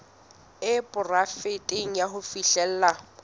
e poraefete ya ho fihlella